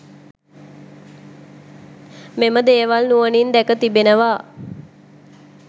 මෙම දේවල් නුවනින් දැක තිබෙනවා